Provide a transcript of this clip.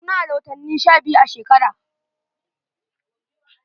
Muna da watanni sha biyu a shekara.